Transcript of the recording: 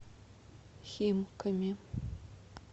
химками